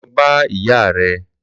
Lò bà ìyá rè